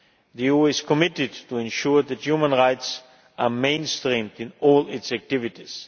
The EU is committed to ensuring that human rights are mainstreamed in all its activities.